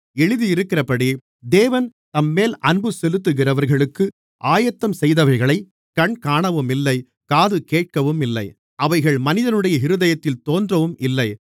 எழுதியிருக்கிறபடி தேவன் தம்மேல் அன்பு செலுத்துகிறவர்களுக்கு ஆயத்தம் செய்தவைகளைக் கண் காணவும் இல்லை காது கேட்கவும் இல்லை அவைகள் மனிதனுடைய இருதயத்தில் தோன்றவும் இல்லை